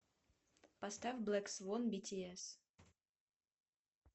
поставь блэк свон битиэс